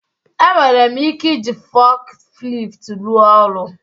Enwere m ike iji forklift rụọ ọrụ